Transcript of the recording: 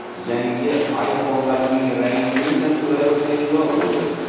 Yangi iPhone’larning rangli tasvirlari paydo bo‘ldi .